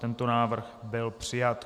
Tento návrh byl přijat.